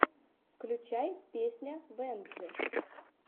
включай песня венджи